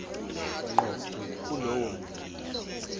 ngqo kulowo muntu